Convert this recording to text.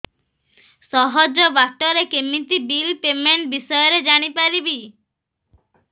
ସହଜ ବାଟ ରେ କେମିତି ବିଲ୍ ପେମେଣ୍ଟ ବିଷୟ ରେ ଜାଣି ପାରିବି